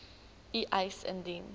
u eis indien